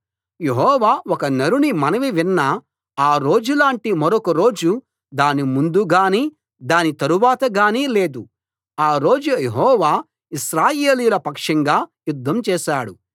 యెహోవా ఒక నరుని మనవి విన్న ఆ రోజులాంటి మరొక రోజు దాని ముందు గానీ దాని తరువాత గానీ లేదు ఆ రోజు యెహోవా ఇశ్రాయేలీయుల పక్షంగా యుద్ధం చేశాడు